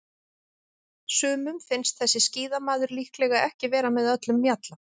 Sumum finnst þessi skíðamaður líklega ekki vera með öllum mjalla.